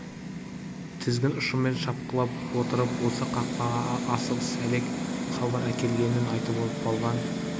тізгін ұшымен шапқылап отырып осы қақпаға асығыс әлек хабар әкелгенін айтып болған